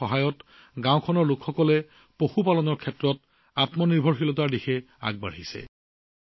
তেওঁলোকৰ সহায়ত গাঁওবাসীয়ে পশুপালনৰ স্বাৱলম্বীতাৰ দিশে আগবাঢ়িছে